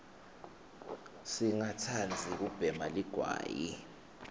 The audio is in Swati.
singa tsanbzi kubhema ligwayi